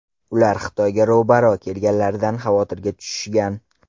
Ular Xitoyga ro‘baro‘ kelganliklaridan xavotirga tushishgan.